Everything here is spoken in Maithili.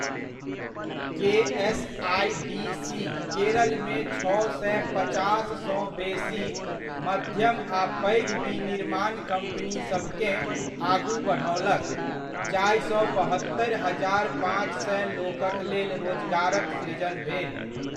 के.एस.आइ.डी.सी. केरलमे छओ सए पचास सँ बेसी मध्यम आ पैघ विनिर्माण कम्पनीसभकेँ आगू बढओलक, जाहिसँ बहत्तरि हजार पाँच सए लोकक लेल रोजगारक सृजन भेल।